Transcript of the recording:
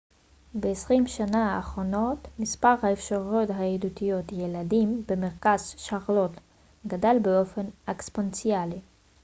ב-20 השנה האחרונות מספר האפשרויות הידידותיות לילדים במרכז שרלוט גדל באופן אקספוננציאלי